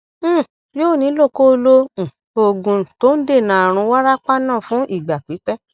um yóò nílò kó o lo um oògùn tó ń dènà àrùn wárápá náà fún ìgbà pípẹ